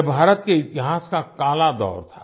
यह भारत के इतिहास का काला दौर था